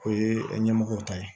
O ye ɲɛmɔgɔw ta ye